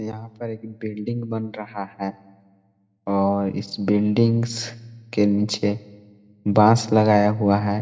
यहाँ पर एक बिल्डिंग बन रहा है और इस बिल्डिंग के नीचे बांस लगाया हुआ है।